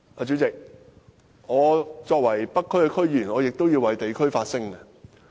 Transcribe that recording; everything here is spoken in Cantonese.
主席，作為北區區議員，我亦要為地區發聲。